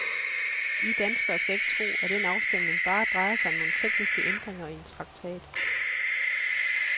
I danskere skal ikke tro, at den afstemning bare drejer sig om nogle tekniske ændringer i en traktat.